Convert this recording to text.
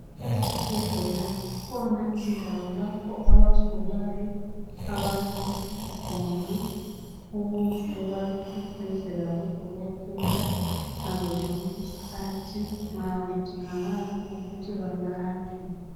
Ezibhedlela kukhona indawo lapho abagulayo abalaliswa khona ukuze babeseduze labo dokotela ngazozonke izikhathi nxa bedingakala ukuthi belatshwe.